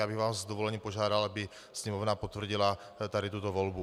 Já bych vás s dovolením požádal, aby Sněmovna potvrdila tady tuto volbu.